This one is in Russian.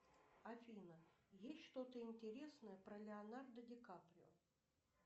афина есть что то интересное про леонардо ди каприо